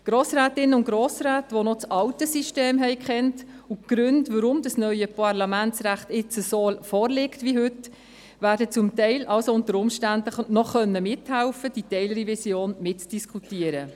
Grossrätinnen und Grossräte, die noch das alte System und die Gründe, weshalb das neue Parlamentsrecht so vorliegt wie heute kannten, werden unter Umständen noch mithelfen können, diese Teilrevision zum Teil noch mitzudiskutieren.